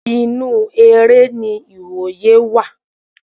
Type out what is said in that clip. Inú eré ni iwoye wà